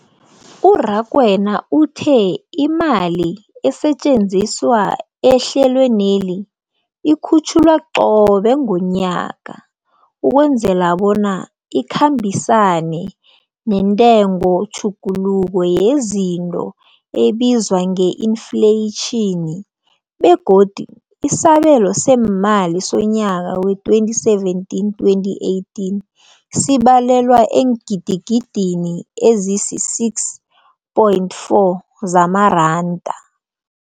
U-Rakwena uthe imali esetjenziswa ehlelweneli ikhutjhulwa qobe ngomnyaka ukwenzela bona ikhambisane nentengotjhuguluko yezinto ebizwa nge-infleyitjhini, begodu isabelo seemali somnyaka we-2017, 2018 sibalelwa eengidigidini ezisi-6.4 zamaranda.